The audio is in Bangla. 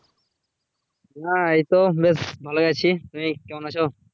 হ্যাঁ এই তো বেশ ভালোই আছি, তুমি কেমন আছো?